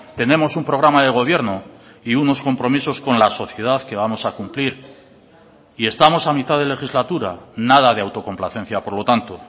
tenemos un programa de gobierno y unos compromisos con la sociedad que vamos a cumplir y estamos a mitad de legislatura nada de autocomplacencia por lo tanto